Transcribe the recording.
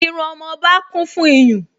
Irú ọmọba kún fún iyùn